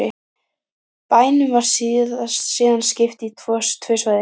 Bænum var síðan skipt í tvö svæði